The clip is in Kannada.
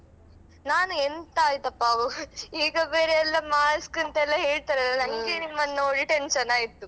ನಾನು ಎಂತ ಆಯಿತಪ್ಪಾ ಈಗ ಬೇರೆಯೆಲ್ಲ mask ಅಂತೆಲ್ಲಾ ಹೇಳ್ತಾರಲ್ಲಾ ಹೀಗೆ ನಿಮ್ಮನ್ನು ನೋಡಿ tension ಆಯ್ತು.